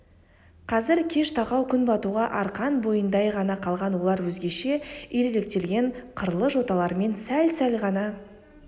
қазір кеш тақау күн батуға арқан бойындай ғана қалған олар өзгеше иректелген қырлы жоталарымен сәл-сәл ғана